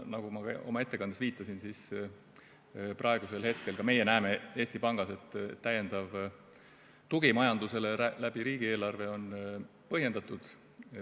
Nagu ma oma ettekandes viitasin, praegu ka meie näeme Eesti Pangas, et täiendav tugi majandusele riigieelarve kaudu on põhjendatud.